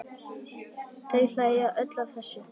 Þau hlæja öll að þessu.